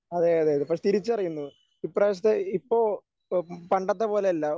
അതെ അതെ പക്ഷേ തിരിച്ചറിയുന്നു ഇപ്രാവശ്യത്തെ ഇപ്പൊ പണ്ടത്തെ പോലെയല്ല